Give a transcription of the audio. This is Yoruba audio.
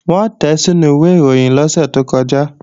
Wọ́n tẹ̀ẹ́ sínú ìwẹ̀ ìròyìn lọ́sẹ̀ tó kọjá